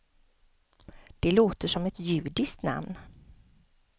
Det låter som ett judiskt namn.